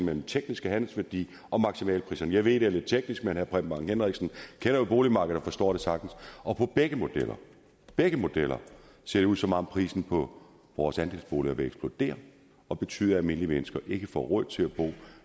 den tekniske handelsværdi og maksimalpriserne jeg ved det er lidt teknisk men herre preben bang henriksen kender jo boligmarkedet og forstår det sagtens og på begge modeller begge modeller ser det ud som om prisen på vores andelsboliger vil eksplodere og betyde at almindelige mennesker ikke får råd til at bo